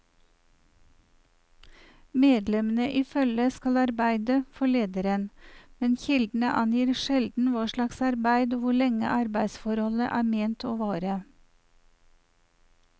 Medlemmene i følget skal arbeide for lederen, men kildene angir sjelden hva slags arbeid og hvor lenge arbeidsforholdet er ment å vare.